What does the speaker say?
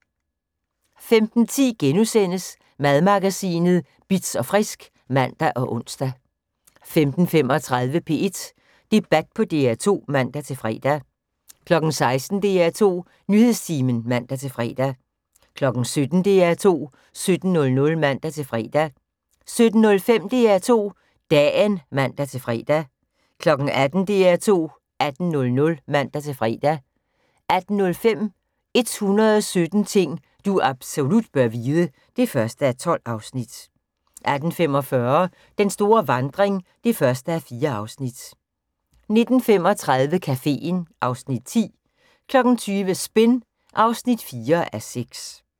15:10: Madmagasinet Bitz & Frisk *(man og ons) 15:35: P1 Debat på DR2 (man-fre) 16:00: DR2 Nyhedstimen (man-fre) 17:00: DR2 17.00 (man-fre) 17:05: DR2 Dagen (man-fre) 18:00: DR2 18.00 (man-fre) 18:05: 117 ting du absolut bør vide (1:12) 18:45: Den store vandring (1:4) 19:35: Caféen (Afs. 10) 20:00: Spin (4:6)